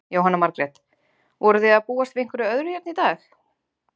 Jóhanna Margrét: Voruð þið að búast við einhverju öðru hérna í dag?